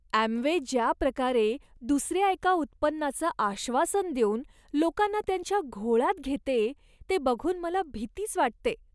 Amway ज्या प्रकारे दुसऱ्या एका उत्पन्नाचं आश्वासन देऊन लोकांना त्यांच्या घोळात घेते ते बघून मला भीतीच वाटते.